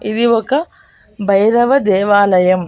ఇది ఒక భైరవ దేవాలయం.